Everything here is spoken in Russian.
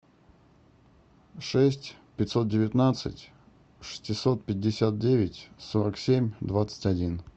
шесть пятьсот девятнадцать шестьсот пятьдесят девять сорок семь двадцать один